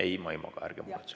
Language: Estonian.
Ei, ma ei maga, ärge muretsege.